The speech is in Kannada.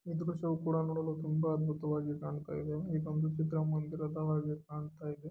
ಈ ದೃಶ್ಯ ನೋಡಲು ತುಂಬಾ ಅದ್ಭುತವಾಗಿ ಕಾಣ್ತಾ ಇದೆ ಇದೊಂದು ಚಿತ್ರಮಂದಿರದ ಹಾಗೆ ಕಾಣ್ತಾ ಇದೆ.